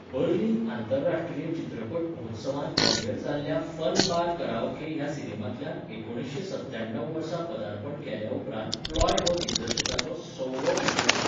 Berlin आंतरराष्ट्रीय चित्रपट महोत्सवांत प्रीमियर जाल्ल्या फन बार कराओके ह्या सिनेमांतल्यान एकुणीसशें सत्त्याणव वर्सा पदार्पण केल्या उपरांत प्लॉय हो दिग्दर्शकाचो सवो फिचर फिल्म.